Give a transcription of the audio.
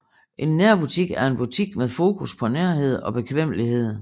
En nærbutik er en butik med fokus på nærhed og bekvemmelighed